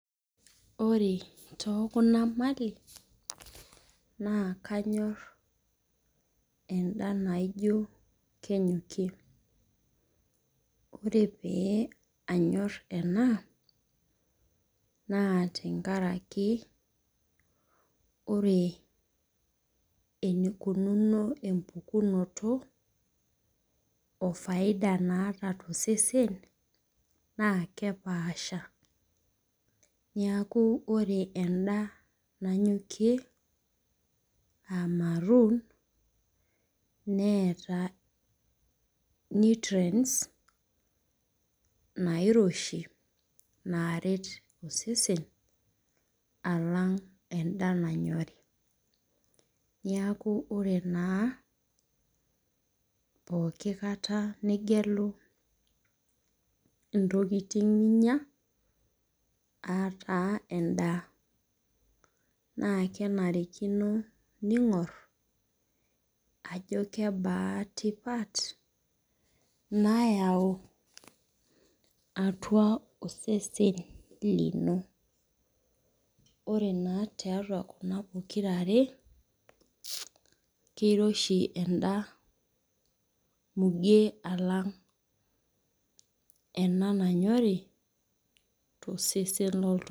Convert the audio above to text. Ore too kuna mali naa kanyor eda naijo kenyokie. Ore pee anyor ena naa tenkaraki ore enikununo empukunoto oo ]faida naata too sesen naa kepasha. Neeku ore eda nanyokie aa maroon neeta nutrients nairoshi naaret osesen alang' eda nanyorii. Neeku ore pookin nigira agelu intokitin ninya aa taa eda na kenarikino ning'or ajo kebaa tipat nayau atua osesen lino. Ore naa tiatua kuna pokirare keiroshi edaa muge alang ena nanyori tosesen oltung'ani.